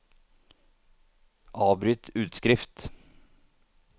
avbryt utskrift